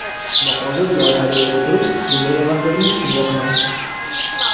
Ammo hozir, loyihada ishlay turib, bunday emasligini tushunyapman.